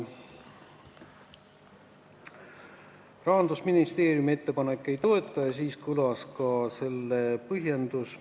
Rahandusministeerium ettepanekut ei toeta ja kõlas ka selle põhjendus.